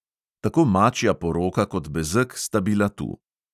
Tako mačja poroka kot bezeg sta bila tu!